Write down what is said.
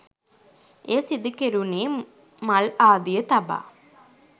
එය සිදුකෙරුණේ මල් ආදිය තබා